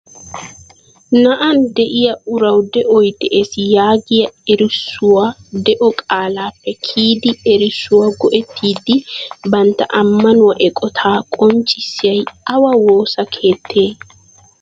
Na'aan de'iya urawu de'oy de'ees yaagiya erissuwaa de'o qalappe kiyidi erissuwa go"itiddi bantta ammanuwa eqqota qonccissayay awaa woossa keettee ?